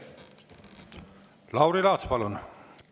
Lauri Laats, palun!